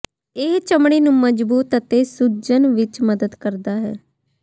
ਇਹ ਚਮੜੀ ਨੂੰ ਮਜਬੂਤ ਅਤੇ ਸੁਚੱਣ ਵਿਚ ਮਦਦ ਕਰਦਾ ਹੈ